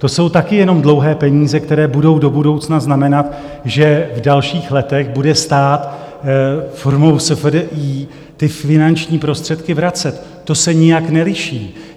To jsou taky jenom dlouhé peníze, které budou do budoucna znamenat, že v dalších letech bude stát formou SFDI ty finanční prostředky vracet, to se nijak neliší.